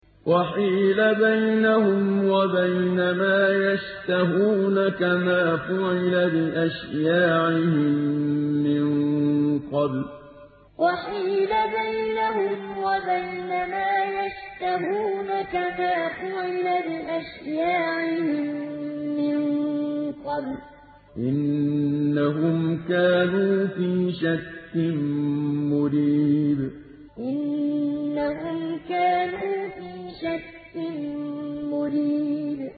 وَحِيلَ بَيْنَهُمْ وَبَيْنَ مَا يَشْتَهُونَ كَمَا فُعِلَ بِأَشْيَاعِهِم مِّن قَبْلُ ۚ إِنَّهُمْ كَانُوا فِي شَكٍّ مُّرِيبٍ وَحِيلَ بَيْنَهُمْ وَبَيْنَ مَا يَشْتَهُونَ كَمَا فُعِلَ بِأَشْيَاعِهِم مِّن قَبْلُ ۚ إِنَّهُمْ كَانُوا فِي شَكٍّ مُّرِيبٍ